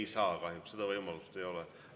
Ei saa, kahjuks, seda võimalust ei ole.